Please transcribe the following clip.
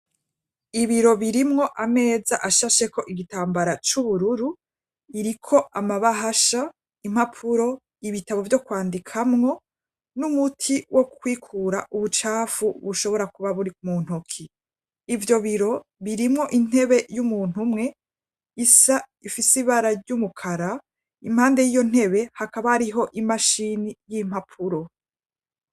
Ibiro birimwo ameza ashashe ko igitambara cy'ubururu iriko amabahasha impapuro ibitabo byo kwandikamwo n'umuti wo kwikura ubucafu bushobora kuba buri kmuntoki ibyo biro birimwo intebe y'umuntu umwe isa ifise ibara ry'umukara impande y'iyo ntebe hakaba ariho imashini y'impapuro.